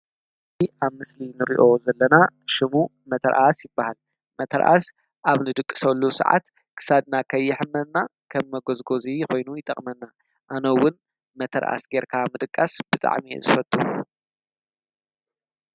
ኣብ ምስሊ ንርዮ ዘለና ሽሙ መተር ኣስ ይበሃል መተርኣስ ኣብ ንድቂ ሠሉ ሰዓት ክሳድና ኸይሕመና ኸም መጐዝጎዙ ኾይኑ ይጠቕመና ኣኖውን መተር ኣስ ጌርካ ምድቃስ ብጥዕሚ ዝፈቱ